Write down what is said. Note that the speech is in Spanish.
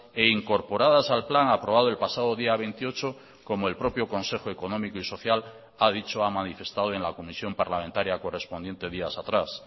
e incorporadas al plan aprobado el pasado día veintiocho como el propio consejo económico y social ha dicho ha manifestado en la comisión parlamentaria correspondiente días atrás